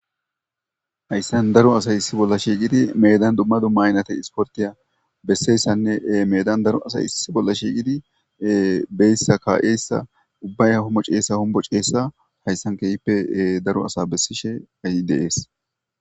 hayssan daro asay issi bolla shiigidi medan dumma dumma ynata isportiya besseyssanne meedan daro asay isis bolla shiigidi beyssa kaa7eyssa ubbaya hommo ceessa hombo ceessa hayssan keyippe daro asa bessishe ayi deees